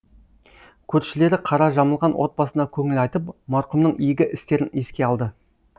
көршілері қара жамылған отбасына көңіл айтып марқұмның игі істерін еске алды